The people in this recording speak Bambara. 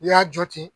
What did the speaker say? I y'a jɔ ten